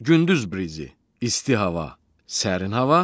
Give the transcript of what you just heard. Gündüz brizi: isti hava, sərin hava.